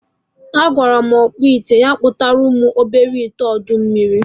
Agwara m ọkpụite kpụtalụ m obele ite ọdọ mmiri